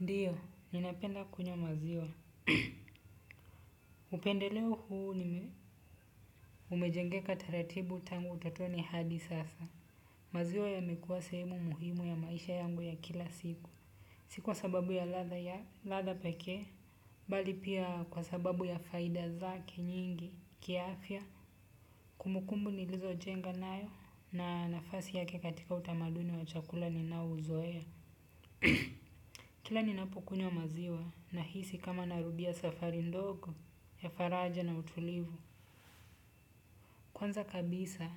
Ndio, ninapenda kunywa maziwa. Upendeleo huu umejengeka taratibu tangu utotoni hadi sasa. Maziwa yamekuwa sehemu muhimu ya maisha yangu ya kila siku. Si kwa sababu ya ladha ya ladha pekee, bali pia kwa sababu ya faida zake nyingi, kiafya, kumbukumbu nilizojenga nayo na nafasi yake katika utamaduni wa chakula ninao uzoea. Kila ninapukunywa maziwa nahisi kama narudia safari ndogo ya faraja na utulivu. Kwanza kabisa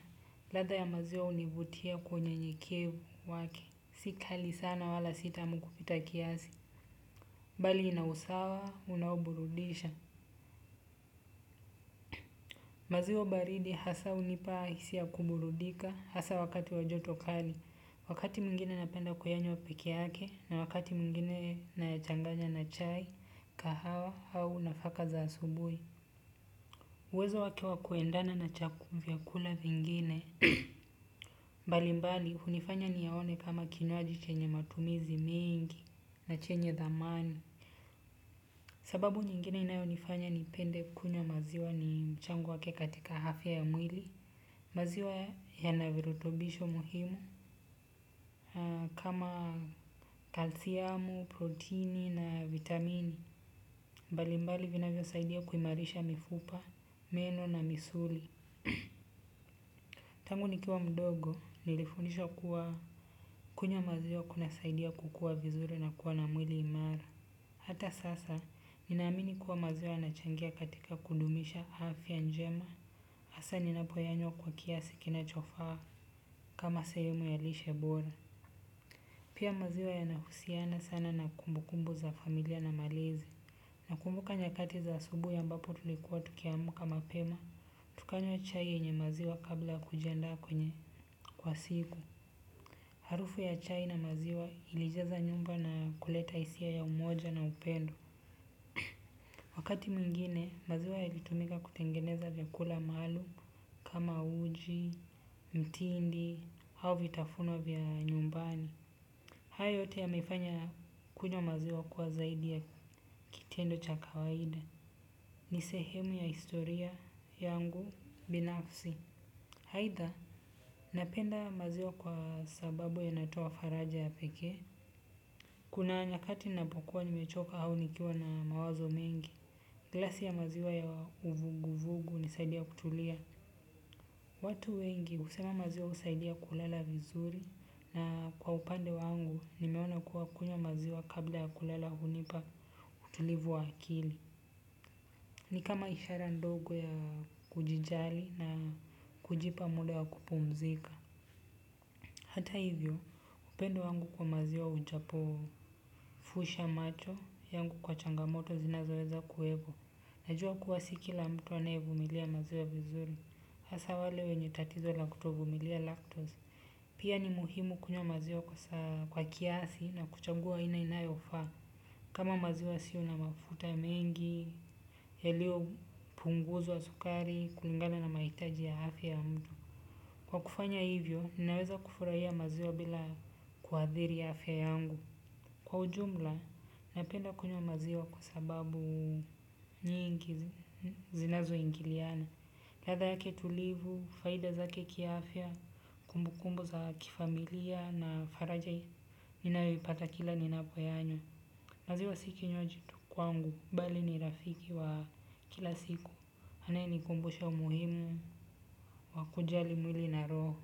ladha ya maziwa hunivutia kwenye unyenyekevu wake. Si kali sana wala si tamu kupita kiasi. Bali ina usawa unaoburudisha. Maziwa baridi hasa hunipa hisia ya kuburudika hasa wakati wa joto kali. Wakati mwingine napenda kuyanywa peke yake na wakati mwingine nayachanganya na chai kahawa au nafaka za asubui uwezo wake wa kuendana na vyakula vingine mbalimbali hunifanya niyaone kama kinywaji chenye matumizi mengi na chenye thamani. Sababu nyingine inayonifanya nipende kunywa maziwa ni mchango wake katika afya ya mwili. Maziwa yana virutubisho muhimu kama kalsiamu, proteini na vitamini mbalimbali vinavyosaidia kuimarisha mifupa, meno na misuli. Tangu nikiwa mdogo nilifundishwa kuwa kunywa maziwa kunasaidia kukua vizuri na kuwa na mwili imara. Hata sasa, ninaamini kuwa maziwa yanachangia katika kudumisha afya njema hasa ninapoyanywa kwa kiasi kinachofaa kama sehemu ya lishe bora. Pia maziwa yanahusiana sana na kumbukumbu za familia na malezi. Nakumbuka nyakati za asubui ambapo tulikuwa tukiamka mapema, tukanywa chai yenye maziwa kabla ya kujiandaa kwenye kwa siku. Harufu ya chai na maziwa ilijaza nyumba na kuleta hisia ya umoja na upendo. Wakati mwingine, maziwa yalitumika kutengeneza vyakula maalum kama uji, mtindi, au vitafuno vya nyumbani. Haya yote yamefanya kunywa maziwa kuwa zaidi ya kitendo cha kawaida. Ni sehemu ya historia yangu binafsi. Aidha, napenda maziwa kwa sababu yanatoa faraja ya pekee. Kuna nyakati napokuwa nimechoka au nikiwa na mawazo mengi. Glasi ya maziwa ya uvuguvugu hunisaidia kutulia. Watu wengi husema maziwa husaidia kulala vizuri na kwa upande wangu nimeona kuwa kunywa maziwa kabla kulala hunipa utulivu wa akili. Ni kama ishara ndogo ya kujijali na kujipa muda wa kupumzika. Hata hivyo, upendo wangu kwa maziwa hujapofusha macho yangu kwa changamoto zinazoweza kuwepo. Najua kuwa si kila mtu anayevumilia maziwa vizuri. Hasa wale wenye tatizo la kutovumilia lactose. Pia ni muhimu kunywa maziwa kwa kiasi na kuchagua aina inayofaa kama maziwa yasiyo na mafuta ya mengi yaliyo punguzwa sukari kulingana na mahitaji ya afya ya mtu. Kwa kufanya hivyo, ninaweza kufurahia maziwa bila kuathiri afya yangu. Kwa ujumla, napenda kunywa maziwa kwa sababu nyingi zinazoingiliana. Ladha yake tulivu faida zake kiafya kumbukumbu za kifamilia na faraja ninayoipata kila ninapoyanywa. Maziwa si kinywaji tu kwangu, bali ni rafiki wa kila siku. Anayenikumbusha umuhimu wa kujali mwili na roho.